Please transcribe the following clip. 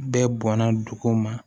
Bɛɛ bɔnna dugu ma